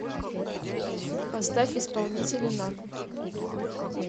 поставь исполнителя накл